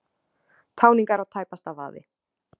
Táningar á tæpasta vaði